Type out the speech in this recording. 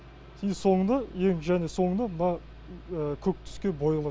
и соңында ең және соңына мына көк түске боялады